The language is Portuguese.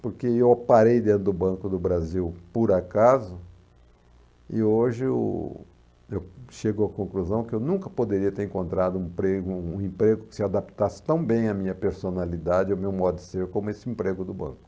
Porque eu parei dentro do Banco do Brasil por acaso e hoje o eu chego à conclusão que eu nunca poderia ter encontrado um emprego um emprego que se adaptasse tão bem à minha personalidade e ao meu modo de ser como esse emprego do banco.